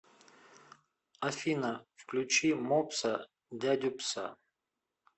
афина включи мопса дядю пса